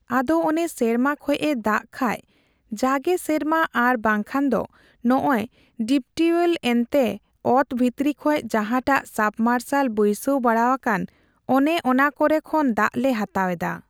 ᱟᱫᱚ ᱚᱱᱮ ᱥᱮᱨᱢᱟᱠᱷᱚᱡ ᱮ ᱫᱟᱠ ᱠᱷᱟᱡ ᱡᱟᱜᱮ ᱥᱮᱨᱢᱟ ᱟᱨ ᱵᱟᱝᱠᱷᱟᱡ ᱫᱚ ᱱᱚᱜᱚᱭ ᱰᱤᱯᱴᱤᱣᱮᱞ ᱮᱱᱛᱮ ᱚᱛ ᱵᱷᱤᱛᱨᱤᱠᱷᱚᱡ ᱡᱟᱦᱟᱸᱴᱟᱜ ᱥᱟᱵᱢᱟᱨᱥᱟᱞ ᱵᱟᱹᱭᱥᱟᱹᱣ ᱵᱟᱲᱟᱣᱟᱠᱟᱱ ᱚᱱᱮ ᱚᱱᱟ ᱠᱚᱨᱮ ᱠᱷᱚᱱ ᱫᱟᱜᱞᱮ ᱦᱟᱛᱟᱣᱮᱫᱟ ᱾